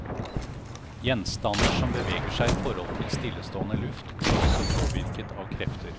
Gjenstander som beveger seg i forhold til stillestående luft blir også påvirket av krefter.